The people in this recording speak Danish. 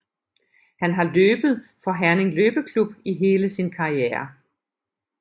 Han har løbet for Herning Løbeklub i hele sin karriere